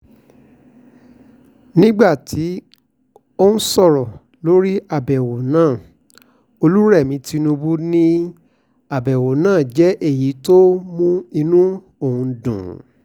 nígbà tó ń sọ̀rọ̀ lórí àbẹ̀wò náà olùrẹmi tìǹbù ni àbẹ̀wò náà jẹ́ èyí tó mú inú òun dùn